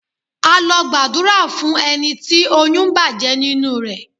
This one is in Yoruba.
A lọ gbàdúrà fún ẹni tí oyún bàjẹ́ nínú rẹ.